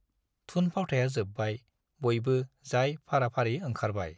थुन-फावथाया जोब्बाय, बयबो जाय फाराफारि ओंखारबाय।